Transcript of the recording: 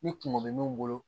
Ni kungo bɛ min bolo